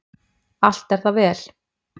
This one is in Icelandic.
Allt er það vel.